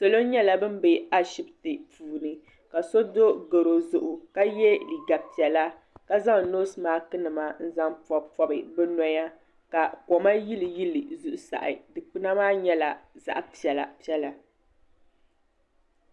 salo nyɛla ban be Ashibiti puuni ka so do garɔ zuɣu ka ye liiga piɛla ka zaŋ nosi masiki nima n-zaŋ pɔbi pɔbi bɛ noya ka kom yili yili bɛ zuɣusahi dukpuna maa nyɛla zaɣ' piɛla piɛla